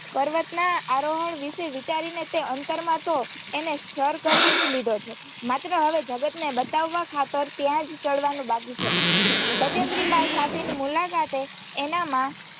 પર્વતના આરોહણ વિશે વિચારીને તેં અંતરમાં તો એને સર કરીજ લીધો છે માત્ર હવે જગત ને બતાવવા ખાતર ત્યા ચઢવાનું બાકી છે બચેન્દ્રી પાલ સાથે ની મુલાકાતે એનામાં